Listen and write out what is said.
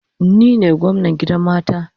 Ni ne gwamnan gidan mata